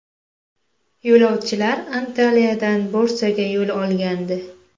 Yo‘lovchilar Antaliyadan Bursaga yo‘l olgandi.